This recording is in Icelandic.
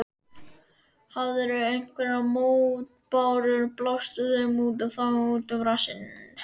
Hafirðu einhverjar mótbárur, blástu þeim þá út um rassinn.